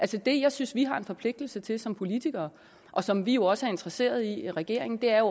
det jeg synes vi har en forpligtelse til som politikere og som vi jo også er interesseret i regeringen er